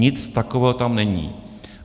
Nic takového tam není.